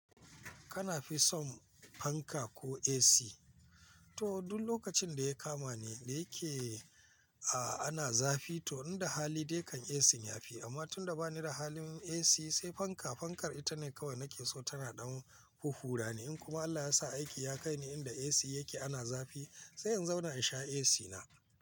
Kana fi son fanka ko AC? To duk lokacin da ya kama ni da yake a ana zafi to inda hali dai kan AC ya fi. Amma tunda bani da halin AC sai fanka. Fankar ita ne kawai nake so tana ɗan huhhurani. In kuma Allah ya sa aiki ya kai ni inda AC yake ana zafi sai in zauna in sha AC na.